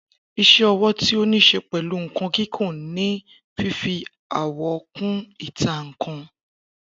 Isé owó tí o nise pẹ́lu nkan kìkun ni fífi àwọ̀ kun ìta nkan